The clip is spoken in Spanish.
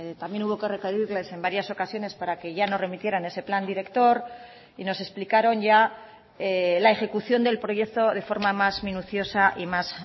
también hubo que requerirles en varias ocasiones para que ya nos remitieran ese plan director y nos explicaron ya la ejecución del proyecto de forma más minuciosa y más